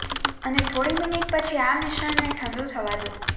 અને થોડી મિનિટ પછી આ મિશ્રણને ઠંડુ થવા દો